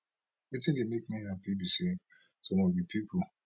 wetin dey make me happy be say some of di pipo